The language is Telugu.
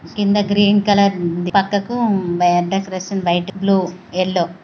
కింద గ్రీన్ కలర్ ఉంది.పక్కకు డెకరేషన్ వైట్ బ్లూ ఎల్లో--